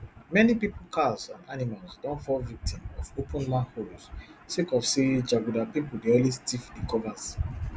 many pipo cars and animals don fall victim of open manholes sake of say jaguda pipo dey always tiff di covers